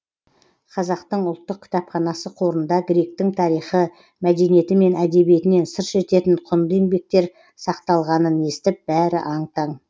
қазақтың ұлттық кітапханасы қорында гректің тарихы мәдениеті мен әдебиетінен сыр шертетін құнды еңбектер сақталғанын естіп бәрі аң таң